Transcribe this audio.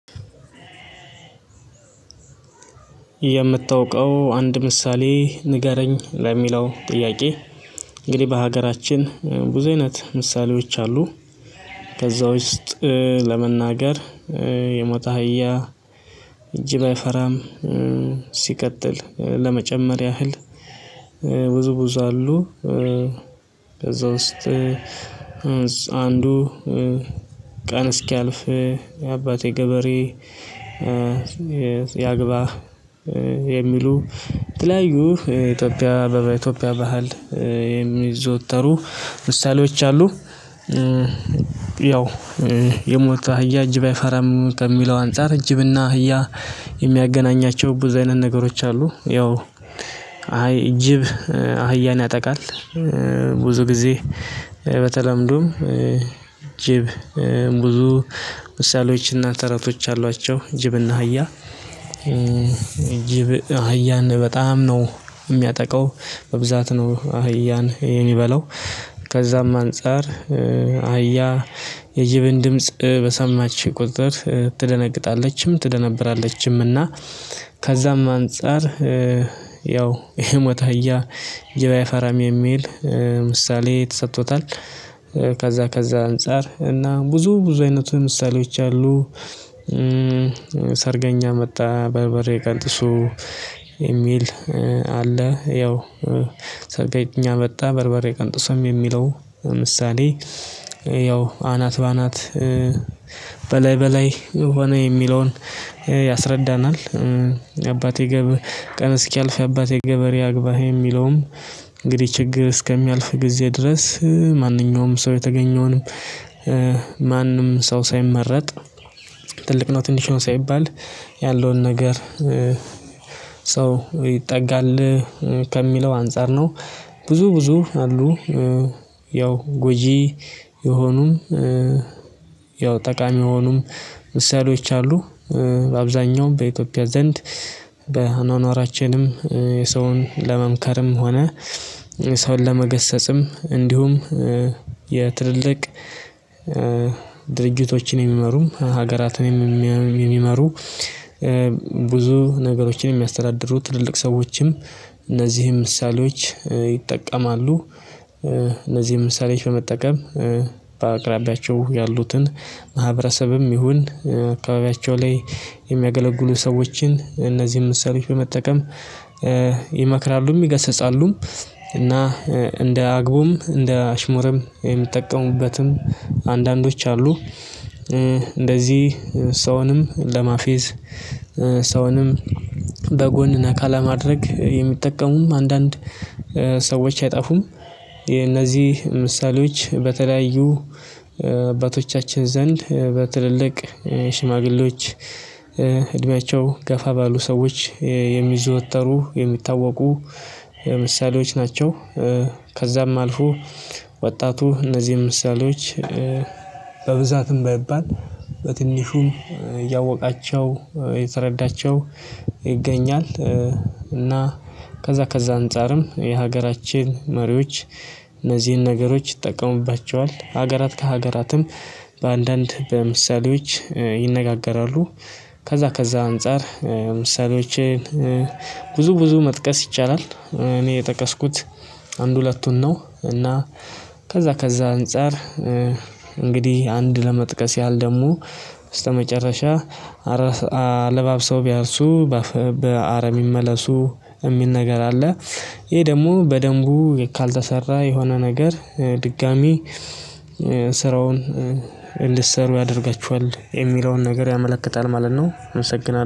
የምታውቀው አንድ ምሳሌ ንገረኝ ለሚለው ጥያቄ እንግዲህ በሀገራችን ብዙ አይነት ምሳሌዎች አሉ ከዛ ውስጥ ለመናገር የሞቀ አህያ ጅብ ባይፈራም ሲቀጥል ለመጨመር ያህል ብዙብዙ አሉ ከዛ ውስጥ አንዱ ቀን እስኪያልፍ የአባቴ ገበሬ ያግባ የሚሉ የተለያዩ ኢትዮጵያ በኢትዮጵያ ባህል የሚዘወተሩ ምሳሌዎች አሉ። ያው የሞተ አህያ እጅ ባይፈራም ከሚለው አንፃር እጅብና አህያ የሚያገናኛቸው ብዙ አይነት ነገሮች አሉ። ያው አይ እጅብ አህያን ያጠቃል ብዙ ጊዜ በተለምዱም ጅብ ብዙ ምሳሌዎችና ተረቶች አሏቸው ጅብና ህያ ጅብ አህያን በጣም ነው የሚያጠቃው በብዛት ነው አህያን የሚበላው ከዛም አንፃር አህያ የጅብን ድምጽ በሰማችኝ ቁጥጥር ትደነቅጣለችም ትደነብራለችም እና ከዛም አንፃር ያው የሞታ እህያ ጅብ አይፈራም የሚል ምሳሌ ተሰጥቶታል። ከዛ ከዛ አንፃር እና ብዙ ብዙ አይነቱ ምሳሌዎች አሉ። ስርገኛ መጣ በርበሬ ቀንጥሶ የሚል አለ ያው ሰርገኛ መጣ በርበሬ ቀንጥሶ የሚለው ምሳሌ ያው አናት በአናት በላይ ሆነ የሚለውን ያስረዳናል። የአባቴ ገብ ቀን እስኪያልፍ የአባቴ ገበሬ ያግባህ የሚለውም እንግዲህ ችግር እስከሚያልፍ ጊዜ ድረስ ማንኛውም ሰው የተገኘውንም ማንም ሰው ሳይመረጥ ትልቅ ነው ትንሽውን ሳይባል ያለውን ነገር ሰው ይጠጋል ከሚለው አንፃር ነው ብዙ ብዙ አሉ። ያው ጎጂ የሆኑም ያው ጠቃሚ የሆኑም ምሳሌዎች አሉ አብዛኛውም በኢትዮጵያ ዘንድ በኗኗራችንም የሰውን ለመምከርም ሆነ ሰውን ለመገሰጽም እንዲሁም የትልልቅ ድርጅቶችን የሚመሩም ሀገራትን የሚመሩ ብዙ ነገሮችን የሚያስተዳድሩ ትልልቅ ሰዎችም እነዚህም ምሳሌዎች ይጠቀማሉ። እነዚህ ምሳሌዎች በመጠቀም በአቅራቢያቸው ያሉትን ማህበረሰብንም ይሁን አካባቢያቸው ላይ የሚያገለግሉ ሰዎችን እነዚህን ምሳሌዎች በመጠቀም ይመክራሉም ይገስጻሉም እና እንደ አግቡም እንደ አሽሙርም የምትጠቀሙበትም አንዳንዶች አሉ እንደዚህ ሰውንም ለማፌዝ ሰውንም በጎን ነካ ለማድረግ የሚጠቀሙም አንዳንድ ሰዎች አይጣፉም። የነዚህ ምሳሌዎች በተለያዩ አባቶቻችን ዘንድ በትልልቅ ሽማግሌዎች እድሜያቸው ገፋ ባሉ ሰዎች የሚዘወተሩ የሚታወቁ የምሳሌዎች ናቸው። ከዛም አልፎ ወጣቱ እነዚህን ምሳሌዎች በብዛትም ባይባል በትንሹም እያወቃቸው የተረዳቸው ይገኛል። እና ከዛ ከዛ አንፃርም የሀገራችን መሪዎች እነዚህን ነገሮች ይጠቀሙባቸዋል ሀገራት ከሀገራትም በአንዳንድ በምሳሌዎች ይነጋገራሉ። ከዛ ከዛ አንፃር ምሳሌዎችን ብዙ ብዙ መጥቀስ ይቻላል። እኔ የጠቀስኩት አንድ ሁለቱን ነው። እና ከዛ ከዛ አንፃር እንግዲህ አንድ ለመጥቀስ ያህል ደሞ በተመጨረሻ አለባብሰው ቢያርሱ በአረ ቢመለሱ የሚል ነገር አለ። ይሄ ደግሞ በደንቡ ካልተሰራ የሆነ ነገር ድጋሚ ስራውን ልትሰሩ ያደርጋችኋል የሚለውን ነገር ያመለክታል ማለት ነው። አመሰግናለሁ